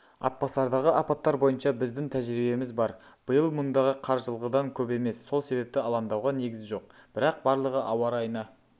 атбасардағы апаттар бойынша біздің тәжірибеміз бар биыл мұндағы қар жылғыдан көп емес сол себепті алаңдауға негіз жоқ бірақ барлығы ауа райына